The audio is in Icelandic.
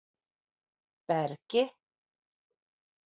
Bergi